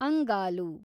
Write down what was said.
ಅಂಗಾಲು